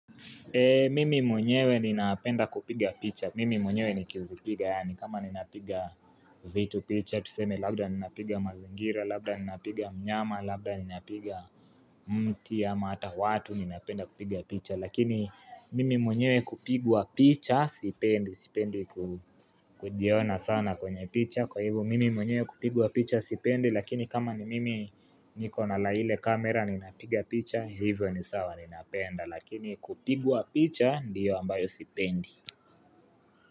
Mimi mwenyewe ninapenda kupiga picha, mimi mwenyewe nikizipiga, yani kama ni napiga vitu picha, tuseme labda ni napiga mazingira, labda ni napiga mnyama, labda ni napiga mti ama hata watu ni napenda kupiga picha. Lakini mimi mwenyewe kupigwa picha, sipendi, sipendi kujiona sana kwenye picha, kwa hivyo mimi mwenyewe kupigwa picha, sipendi, lakini kama ni mimi niko na lile kamera ninapiga picha, hivyo ni sawa ninapenda. Lakini kupigwa picha ndiyo ambayo sipendi.